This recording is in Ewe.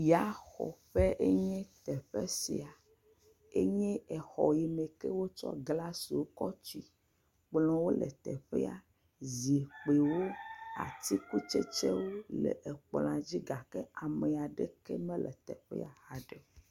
Yaxɔƒe enye teƒe sia enye exɔ yi me ke wotsɔ glasiwo tsɔ tui, kplɔwo le teƒea zikpuiwo atikutsetsewo le ekplɔa dzi gake ame aɖeke mele teƒea ha ɖe o.